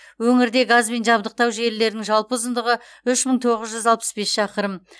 өңірде газбен жабдықтау желілерінің жалпы ұзындығы үш мың тоғыз жүз алпыс бес шақырым